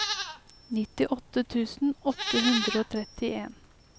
nittiåtte tusen åtte hundre og trettien